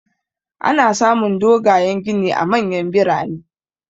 Ana samun dogayan gini a manyan birane.